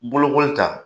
Bolokoli ta